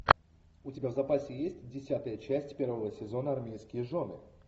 у тебя в запасе есть десятая часть первого сезона армейские жены